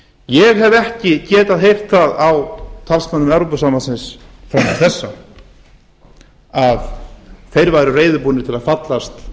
ég hef ekki getað heyrt það frá talsmönnum evrópusambandsins til þessa að þeir er reiðubúnir til að fallast